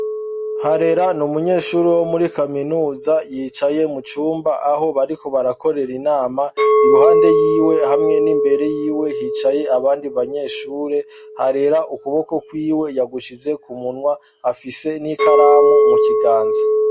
Harera n'umunyeshure wo muri kaminuza yicaye mu cumba aho bariko barakorera inama, iruhande yiwe hamwe n'imbere yiwe hicaye abandi banyeshure, Harera ukuboko kwiwe yagushize ku munwa afise n'ikaramu mu kiganza.